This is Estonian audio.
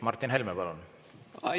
Martin Helme, palun!